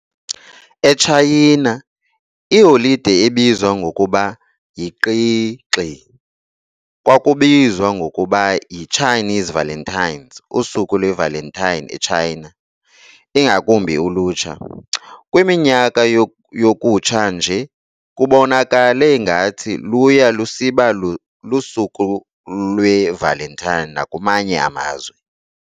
ETshayina, iholide ebizwa ngokuba yiQi Xi kwakubizwa ngokuba yi-Chinese Valentine's, Usuku lweValentine eTshayina, ingakumbi ulutsha. Kwiminyaka yokutsha nje, kubonakale ngathi luya lusiba lusuku lweValentine nakwamanye amazwe.